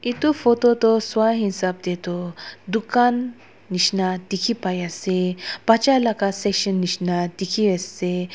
edu photo toh swahisap taetoh dukan nishina dikhipaiase bacha laka section nishina dikhiase.